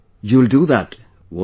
You will do that, won't you